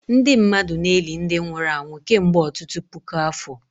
Ndị mmadụ na-eli ndị nwụrụ anwụ kemgbe ọtụtụ puku afọ